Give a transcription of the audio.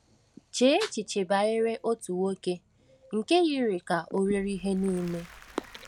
CHEE echiche banyere otu nwoke nke yiri ka o nwere ihe niile.